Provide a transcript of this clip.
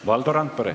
Valdo Randpere.